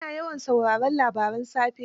Ana yawan sauraren labaran safe.